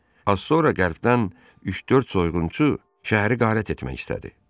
Az sonra qərbdən üç-dörd soyğunçu şəhəri qarət etmək istədi.